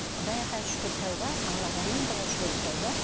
құдайға шүкір тәуба аллаға мың да шүкір тәуба